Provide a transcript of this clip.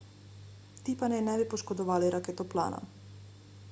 ti pa naj ne bi poškodovali raketoplana